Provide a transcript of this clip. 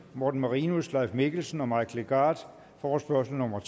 morten marinus leif mikkelsen og mike legarth forespørgsel nummer